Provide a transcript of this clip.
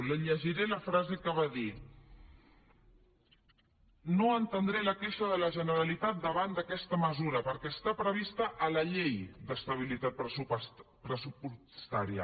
li llegiré la frase que va dir no entendré la queixa de la generalitat davant d’aquesta mesura perquè està prevista a la llei d’estabilitat pressupostària